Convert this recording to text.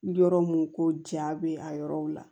Yɔrɔ mun ko ja be a yɔrɔw la